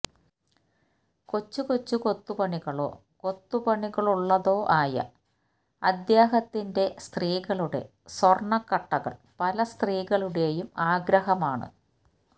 കൊച്ചു കൊച്ചു കൊത്തുപണികളോ കൊത്തുപണികളുള്ളതോ ആയ അദ്ദേഹത്തിന്റെ സ്ത്രീകളുടെ സ്വർണക്കട്ടകൾ പല സ്ത്രീകളുടെയും ആഗ്രഹമാണ്